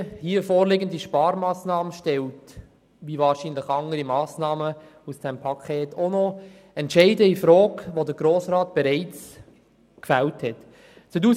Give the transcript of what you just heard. Die vorliegende Sparmassnahme stellt, wie wahrscheinlich auch andere Massnahmen dieses Sparpakets, bereits vom Grossen Rat gefällte Entscheide infrage.